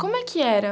Como é que era?